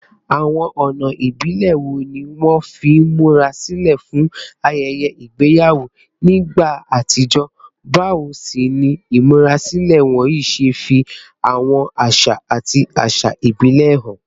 Àwọn ọ̀nà ìbílẹ̀ wo ni wọ́n fi ń múra sílẹ̀ fún ayẹyẹ ìgbéyàwó nígbà àtijọ́, báwo sì ni ìmúrasílẹ̀ wọ̀nyí ṣe fi àwọn àṣà àti àṣà ìbílẹ̀ hàn?